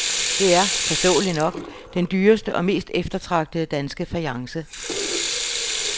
Det er, forståeligt nok, den dyreste og mest eftertragtede danske fajance.